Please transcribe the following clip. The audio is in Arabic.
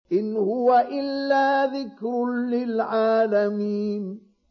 إِنْ هُوَ إِلَّا ذِكْرٌ لِّلْعَالَمِينَ